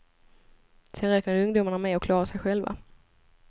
Sen räknade ungdomarna med att klara sig själva.